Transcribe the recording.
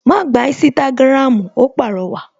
Ma gba Instagram! Ó pàrọwà